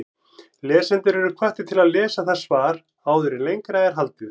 Lesendur eru hvattir til að lesa það svar áður en lengra er haldið.